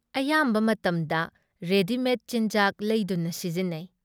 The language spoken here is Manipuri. ꯑꯌꯥꯝꯕ ꯃꯇꯝꯗ ꯔꯦꯗꯤꯃꯦꯗ ꯆꯤꯟꯖꯥꯛ ꯂꯩꯗꯨꯅ ꯁꯤꯖꯤꯟꯅꯩ ꯫